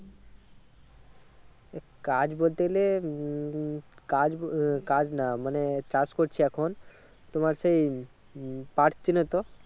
কাজ বলতে গেলে হম হম কাজ উম কাজ না মানে চাষ করছি এখন তোমার সেই উম পাট চেনো তো?